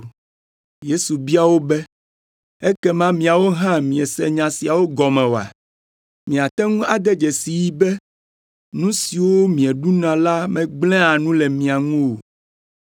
Yesu bia wo be, “Ekema miawo hã miese nya siawo gɔme oa? Miate ŋu ade dzesii be nu siwo mieɖuna la megblẽa nu le mia ŋu o?